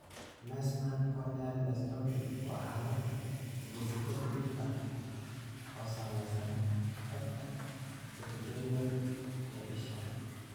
Meesmann corneal dystrophy waa xaalad hidde-side dhif ah oo saamaysa xuubka epithelial ee isha.